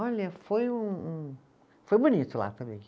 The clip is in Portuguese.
Olha, foi um, um, foi bonito lá também.